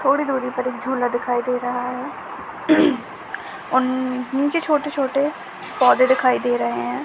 थोड़ी दूरी पर एक झूला दिखाई दे रहा है और नीचे छोटे छोटे पौधे दिखाई दे रहे है। हैं